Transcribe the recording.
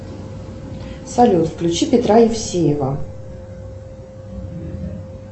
салют включи петра евсеева